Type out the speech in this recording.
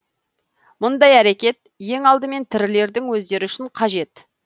мұндай әрекет ең алдымен тірілердің өздері үшін қажет